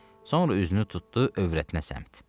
Sonra üzünü tutdu övrətinə səmt.